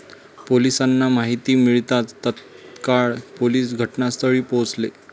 पोलिसांना माहिती मिळताच तत्काळ पोलीस घटनास्थळी पोहचले.